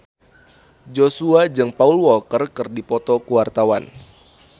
Joshua jeung Paul Walker keur dipoto ku wartawan